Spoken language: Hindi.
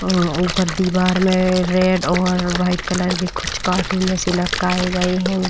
अं ऊपर दीवार में रेड और वाइट कलर के कुछ कार्टून जैसे लटकाए गए हैं।